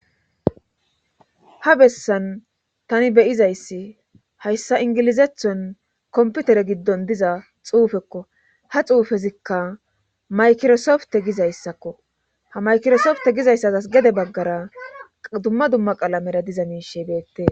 ha bessan tani beyizayssi hayssa ingilizathon komputere giddon diza xuufekko ha xuufezikka maykirosofte gizayssakko ha maykirosofte gizayssaas gede baggara dumma dumma qalamera diza miishe beette